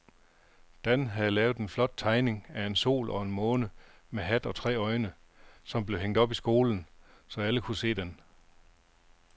Dan havde lavet en flot tegning af en sol og en måne med hat og tre øjne, som blev hængt op i skolen, så alle kunne se den.